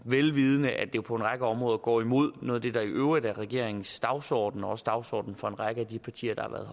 vel vidende at det på en række områder går imod noget af det der i øvrigt er regeringens dagsorden og også dagsordenen for en række af de partier der har været